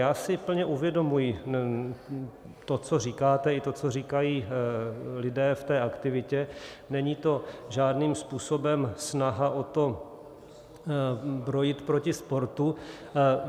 Já si plně uvědomuji to, co říkáte, i to, co říkají lidé v té aktivitě, není to žádným způsobem snaha o to brojit proti sportu.